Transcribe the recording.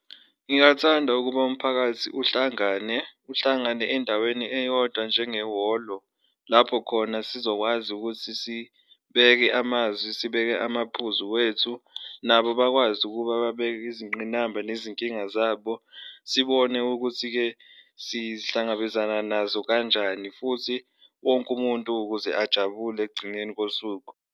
Ngingathanda ukuba umphakathi uhlangane uhlangane endaweni eyodwa njengehholo lapho khona sizokwazi ukuthi sibeke amazwi, sibeke amaphuzu wethu, nabo bakwazi ukuba babeke izingqinamba nezinkinga zabo. Sibone ukuthi-ke sihlangabezana nazo kanjani futhi wonke umuntu ukuze ajabule ekugcineni kosuku.